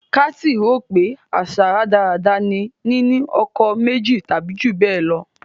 Kathy rò pé àṣà rádaràda ni nínú ọkọ méjì tàbí jù bẹ́ẹ̀ lọ.